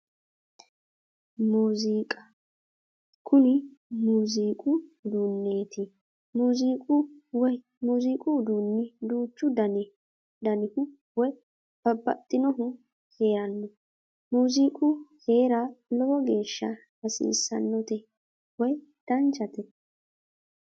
Muuziiqa kuni muuziiqu uduunneeti muuziiqu woyi muuziiqu uduunni duuchu danihu woyi babbaxxinohu heeranno muuziiqu heera lowo geeshsha hasiissannote woyi danchate